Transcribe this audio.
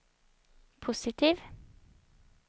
positiv